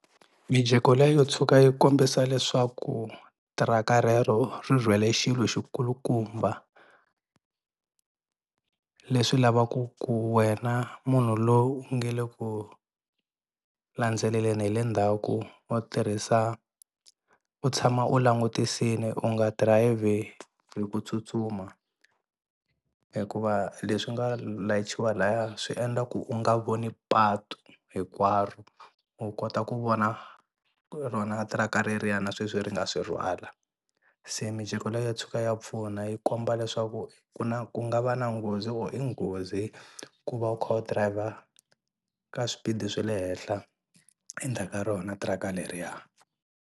Mijeko leyo tshuka yi kombisa leswaku tiraka rero ri rhwele xilo xi kulukumba leswi lavaka ku wena munhu lowu u nge le ku landzeleleli hi le ndzhaku wo tirhisa u tshama u langutisile u nga dirayivhi hi ku tsutsuma hikuva leswi nga layichiwa laya swi endla ku u nga voni patu hinkwaro u kota ku vona rona tiraka reriya na sweswi ri nga swi rhwala se mijeko leyo tshuka ya pfuna yi komba leswaku ku na ku nga va na nghozi or i nghozi ku va u kha u driver ka swipidi swe le henhla endzhaka rona tiraka leriya.